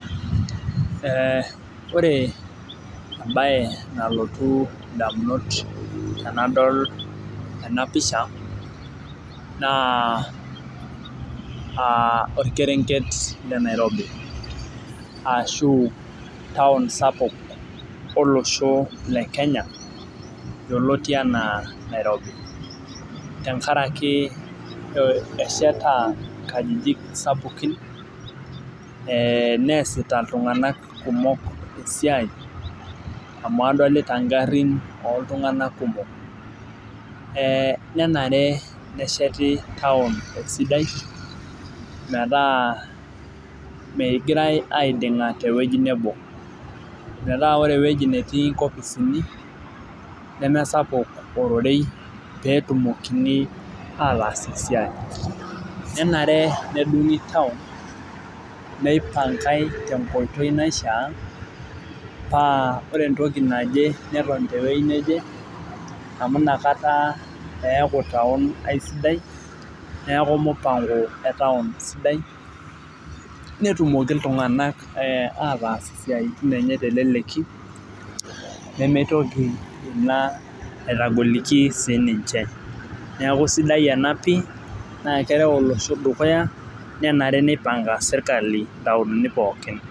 Ee ore embae nalotu ndamunot anadol enapisha na aa orkerenket le nairobi ashubtaun sapuk olosho le kenya naji Nairobi amu esheta nkajijik sapukin e neasita ltunganak kumok esiai amu adolta ngarin kumok, nenare nesheti nkajijik sidan metaa megirai aidinga tewueji nebo metaa ore ewueji natii nkopisini nemesapuk orororei petumokini ataas esiai nenare nedungi taun neioangae tenkoitoi naishaa amu nakata eaku taun aisiadai neaku mpango etaun aisidai netumoki ltunganak ataas siatin enye teleleki nimitoki aitogoliki sininche neaku sidai ena pii na keret olosho dukuya nenare nipanga serkali ntauni pooki